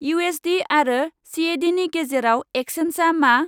इउएसडि आरो सिएडिनि गेजेराव एक्चेन्सा मा?